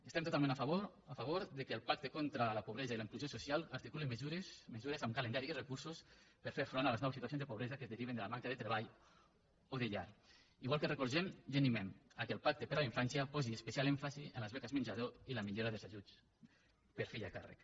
estem totalment a favor que el pacte contra la pobresa i la inclusió social articuli mesures mesures amb calendari i recursos per fer front a les noves situacions de pobresa que es deriven de la manca de treball o de llar igual que recolzem i animem que el pacte per a la infància posi especial èmfasi en les beques menjador i la millora dels ajuts per fill a càrrec